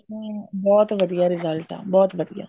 ਹਮ ਬਹੁਤ ਵਧੀਆ result ਹੈ ਬਹੁਤ ਵਧੀਆ